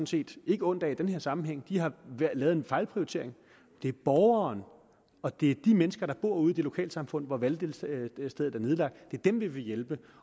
set ikke ondt af i den her sammenhæng de har lavet en fejlprioritering det er borgerne og de mennesker der bor ude i de lokalsamfund hvor valgstederne er nedlagt vi vil hjælpe